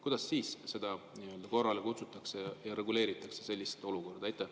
Kuidas siis teda nii-öelda korrale kutsutakse ja lahendatakse see olukord?